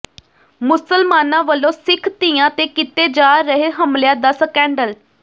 ਮੁਸਲਮਾਨਾਂ ਵਲੋਂ ਸਿੱਖ ਧੀਆਂ ਤੇ ਕੀਤੇ ਜਾ ਰਹੇ ਹਮਲਿਆਂ ਦਾ ਸਕੈਂਡਲ